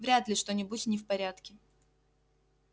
вряд ли что-нибудь не в порядке